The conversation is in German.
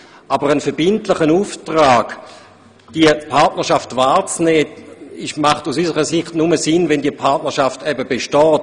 Aber ein verbindlicher Auftrag, eine Partnerschaft wahrzunehmen, macht aus unserer Sicht nur dann Sinn, wenn eine solche besteht.